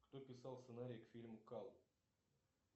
кто писал сценарий к фильму кал